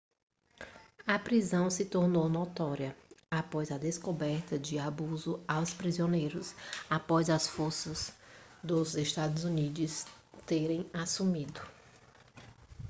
a prisão se tornou notória após a descoberta de abuso aos prisioneiros após as forças dos estados unidos terem assumido